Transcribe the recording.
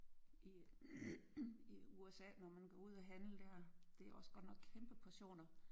I i USA når man går ud og handle der det er også godt nok kæmpe portioner